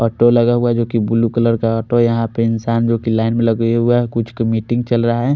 Auto लगा हुआ है जो की ब्लू कलर का ऑटो ह यहां पे इंसान जो की की लाइन में लगा हुआ है कुछ क मीटिंग चल रहा है।